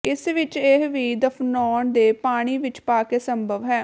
ਇਸ ਵਿਚ ਇਹ ਵੀ ਦਫ਼ਨਾਉਣ ਦੇ ਪਾਣੀ ਵਿੱਚ ਪਾ ਲਈ ਸੰਭਵ ਹੈ